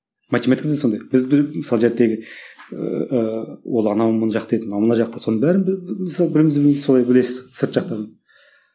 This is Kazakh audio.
математикада да сондай біз мысалы ыыы ол анау мына жақта еді мынау мына жақта соның бәрін мысалы бірімізді біріміз солай білесіз сырт жақтан